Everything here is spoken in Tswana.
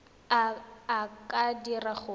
a a ka dirang gore